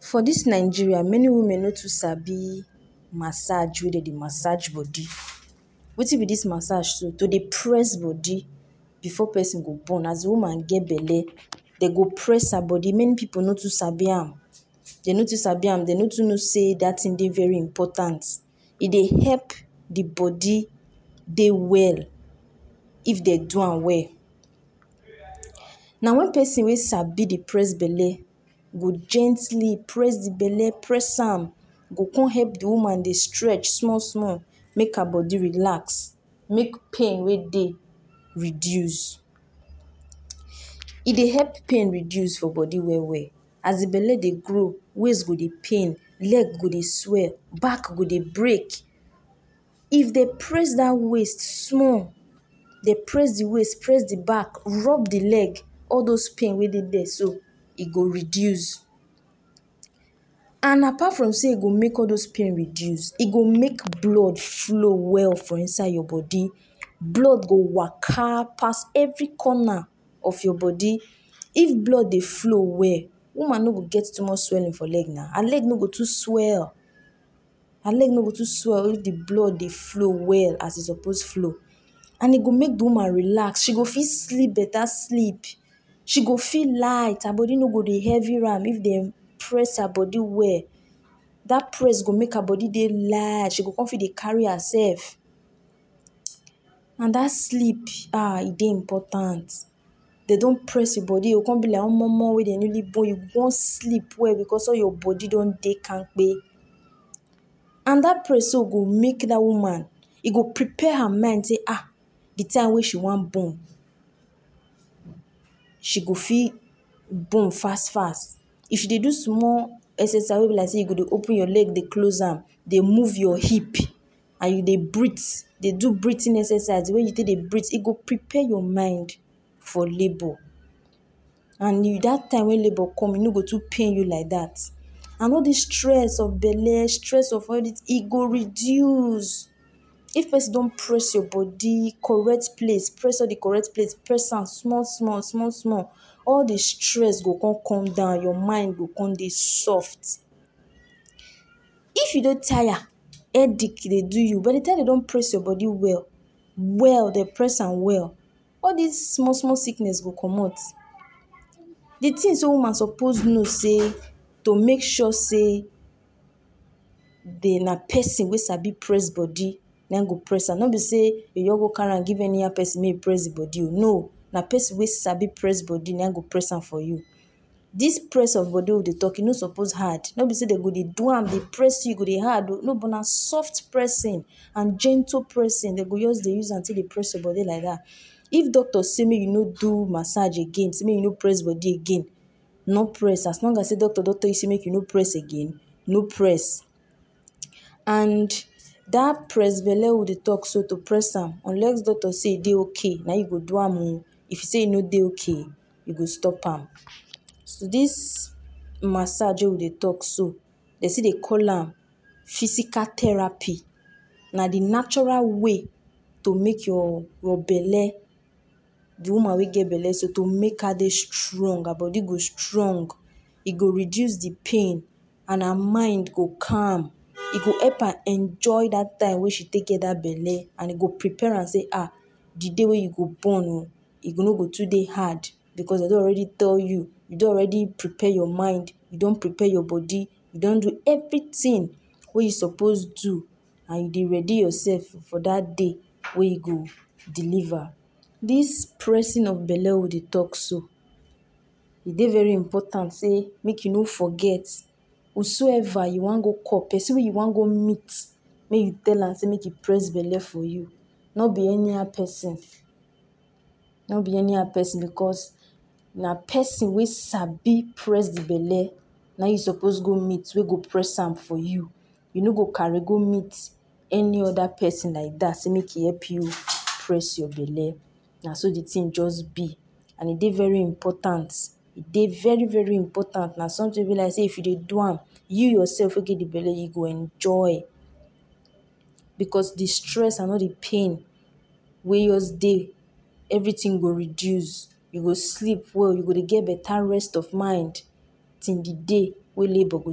For dis Nigeria many women no too sabi massege wey dem Dey massege body wetin be dis message so to Dey press body before person go born as de woman Dey belle dem go press her body many pipu no too sabi am dem no too sabi am Dey no too know sey dat thing Dey very important e Dey help de body Dey well if dem do am well now when person wey sabi Dey press belle go gently press de belle press am Im go con help de woman Dey stretch small small make her body relax make pain wey Dey reduce e Dey help pain reduce for body well well as de better Dey grow waist go Dey pain leg go Dey swell back go Dey break if dem press dat waist small Dey press de waist press de back rub de leg all dose pain wey Dey dia so e go reduce and apart from sey e go make all dose pain reduce e go make blood flow well for inside your body blood go woka pass every corner of your body if blood Dey flow well woman no go get too much swelling for leg na leg no go too swell her leg no go to swell if de blood Dey flow well as e suppose flow and e go make de woman relax she go fit sleep beta sleep she go feel light her body no go Dey heavy am if dem press her body well dat press go make her body light she go con dey carry herself ,now dat sleep ahh e Dey important dem don press im body e go con be like omomo wey dem newly born e go con sleep well because all your body don Dey kampe and dat press go make dat woman e go prepare her mind sey ah de time wey she wan born she go fit born fast fast if she Dey do small exercise wey b like sey you go Dey open your leg Dey close am Dey move your hip and you Dey breath Dey do breathing exercise de way you take Dey breath e go prepare your mind for labour and dat time wey labour come e no go too pain you light dat and all dis stress of belle stress of all this e go reduce if person don press your body correct place press de correct place press am small small all de stress go con come down your mind go con Dey soft. if you dey tire headache Dey do you by de time dem don press you body well well dem press am well all dis small small sickness go commot de things wey wunna suppose know be sey to make sure sey na person wey sabi press body na im go press am no be sey you go carry am give anyhow person make im press de body oo no na person wey sabi press body na im go press am for you dis press of body wey we Dey talk no suppose hard no be sey dem go Dey do am Dey press your body hard oo no but na soft pressing and gentle pressing dem go just Dey use take press your body like dat. If doctors say make you no do massege gain sey make you no press body again no press am as long as sey doctor don tell you sey make you no press again no press and dat press belle wey we Dey talk so no press am unless doctor say e Dey okay na im you go do am oo if im say e no Dey okay you go stop am Dis massege wey we Dey talk so Dey still Dey call am physical therapy na de natural way to make your belle de woman wey get belle so to make her strong her body go strong e go reduce de pain and her mind go calm e go help am enjoy dat time wey she get dat belle and e go prepare am sey ah de day wey you go born ooo e no go too Dey hard because dem don already tell you you don already prepare your mind, you don prepare your body, you don do everything wey you suppose do and you Dey ready yourself for dat day wey you go deliver Dis pressing of belle wey we Dey talk so e Dey very important sey make you no forget who so ever you wan go call person wey you wan go meet make you tell am say make he press belle for you no be anyhow person because na person wey sabi press de belle na im you suppose go meet wey go press am for you you no go carry go meet any other person like dat sey make im help you press your belle na so de thing just be and e Dey very important e Dey very very important na something wey be like sey if you Dey do am you yourself wey get de belle you go Dey enjoy because de stress and all de pain wey just Dey everything go reduce you go sleep well you go Dey get betta rest of mind till de day wey labour go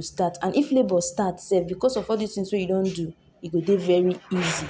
start and if labour start sef because of all dis things wey you don do e go Dey very easy